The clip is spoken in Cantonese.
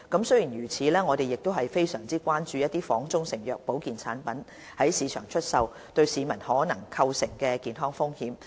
雖然如此，我們亦非常關注仿中成藥的保健產品在市場出售對市民可能構成的健康風險。